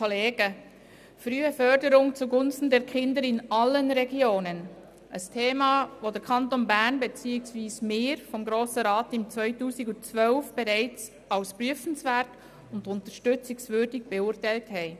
«Frühe Förderung zu Gunsten der Kinder in allen Regionen!» – das ist ein Thema, das im Grossen Rat bereits im Jahr 2012 als prüfenswert und unterstützungswürdig beurteilt wurde.